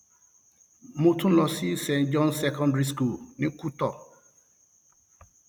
mo tún lọ sí st john secondary school ní kuto